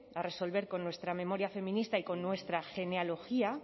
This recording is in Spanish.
a resolver con nuestra memoria feminista y con nuestra genealogía